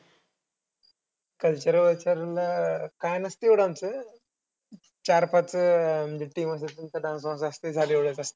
Cultural vultural ला काय नसतंय एवढं आमचं. चार -पाच अं म्हणजे team असतात. त्यांचा dance वान्स असतोय झाले एवढे तर.